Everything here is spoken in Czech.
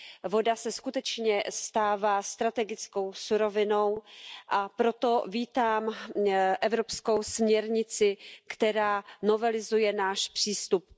Voda se skutečně stává strategickou surovinou, a proto vítám evropskou směrnici, která novelizuje náš přístup.